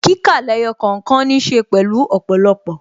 Kíkà lẹ́yọ̀ kọ̀ọ̀kan ní ṣe pẹ̀lú ọ̀pọ̀lọpọ̀